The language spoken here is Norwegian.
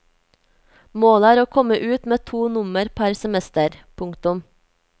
Målet er å komme ut med to nummer per semester. punktum